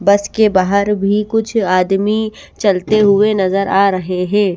बस के बाहर भी कुछ आदमी चलते हुए नजर आ रहे हे।